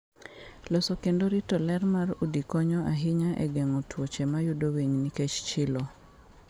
Loso kendo rito ler mar udi konyo ahinya e geng'o tuoche mayudo winy nikech chilo.